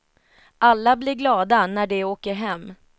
Alla blir glada när de åker hem.